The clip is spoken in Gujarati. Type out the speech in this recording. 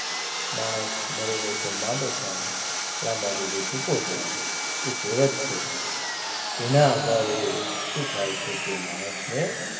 માણસ મરે નહીં તો માંદો થાય લાંબા જોડે ટૂંકો જાય એ કહેવત છે એના આધારે શું થાય છે કે માણસને,